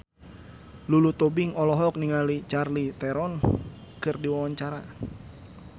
Lulu Tobing olohok ningali Charlize Theron keur diwawancara